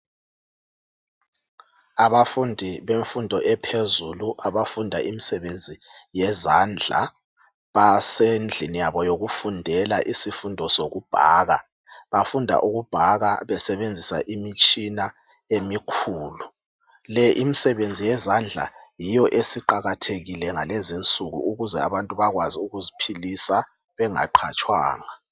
Abafundi bemfundo ephezulu abafunda imisebenzi yezandla basendlini yabo yokufundela isifundo sokubhaka. Bafunda ukubhaka besebenzisa imitshina emikhulu. Le imisebenzi yezandla yiyo esiqakathekile ngalezinsuku ukuze abantu bakwazi ukuziphilisa bengaqhatshwanga.